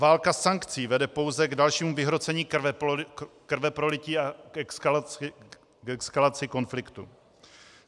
Válka sankcí vede pouze k dalšímu vyhrocení krveprolití a k eskalaci konfliktu.